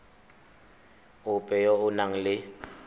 ope yo o nang le